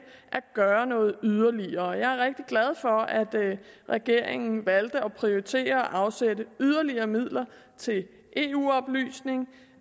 at gøre noget yderligere jeg er rigtig glad for at regeringen valgte at prioritere at afsætte yderligere midler til eu oplysning